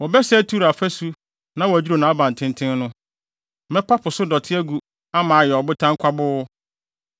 Wɔbɛsɛe Tiro afasu na wɔadwiriw nʼabantenten no. Mɛpa so dɔte agu ama ayɛ ɔbotan kwaboo.